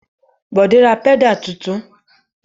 Bọ̀dé ra pẹ́dà tuntun?